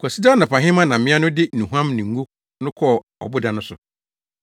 Kwasida anɔpahema na mmea no de nnuhuam ne ngo no kɔɔ ɔboda no so.